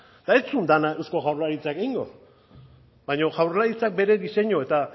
eta ez zuen dena eusko jaurlaritzak egingo baina jaurlaritzak bere diseinu eta